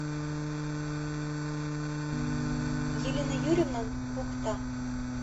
елена юрьевна бухта